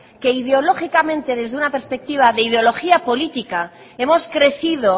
que ideológicamente desde una perspectiva de ideología política hemos crecido